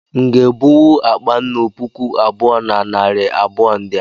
M nga ebuwu akpa nnù puku abụọ na narị abụọ ndị a